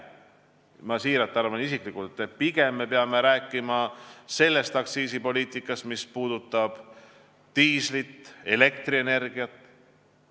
Ma arvan isiklikult siiralt, et pigem me peame rääkima sellest aktsiisipoliitikast, mis puudutab diislit ja elektrienergiat.